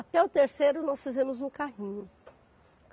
Até o terceiro nós fizemos no carrinho.